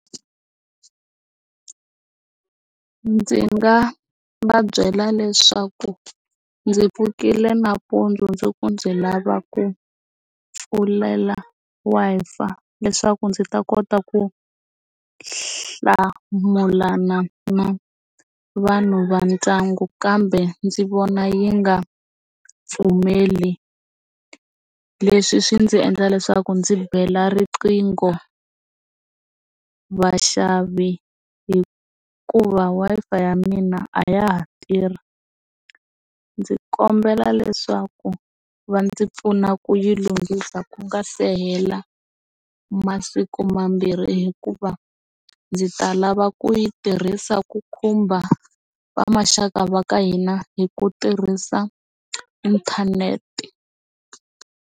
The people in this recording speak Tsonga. Ndzi nga va byela leswaku ndzi pfukile nampundzu ku ndzi lava ku pfulela Wi-Fi leswaku ndzi ta kota ku hlamulana na vanhu va ndyangu kambe ndzi vona yi nga pfumeli leswi swi ndzi endla leswaku ndzi bela riqingho, vaxavi hikuva Wi-Fi ya mina a ya ha tirhi ndzi kombela leswaku va ndzi pfuna ku yi lunghisa ku nga se hela masiku mambirhi hikuva ndzi ta lava ku yi tirhisa ku khumba va maxaka va ka hina hi ku tirhisa inthanete.